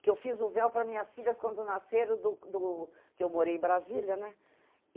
Que eu fiz o véu para minhas filhas quando nasceram do do... Que eu morei em Brasília, né?